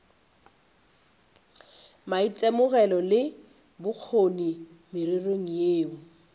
maitemogelo le bokgoni mererong yeo